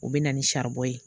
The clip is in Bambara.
U bɛ na ni saribɔn ye.